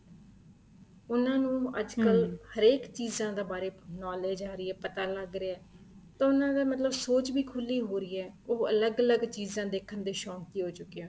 ਉਹਨਾ ਨੂੰ ਅੱਜਕਲ ਹਰੇਕ ਚੀਜ਼ਾਂ ਦੇ ਬਾਰੇ knowledge ਆ ਰਹੀ ਹੈ ਪਤਾ ਲੱਗ ਰਿਹਾ ਹੈ ਤਾਂ ਉਹਨਾ ਦੀ ਮਤਲਬ ਸੋਚ ਵੀ ਖੁੱਲੀ ਹੋ ਰਹੀ ਏ ਉਹ ਅਲੱਗ ਅਲੱਗ ਚੀਜ਼ਾਂ ਦੇਖਣ ਦੇ ਸ਼ੋਂਕੀ ਹੋ ਚੁੱਕੇ ਏ